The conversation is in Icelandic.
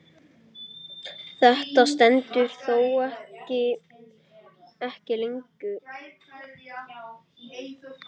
Þetta stendur þó ekki lengi.